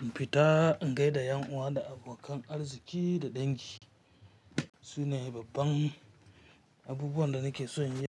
in fita in gaida 'yan uwa da abokan arziki da dangi. Su ne babban abubuwan da nake so in yi.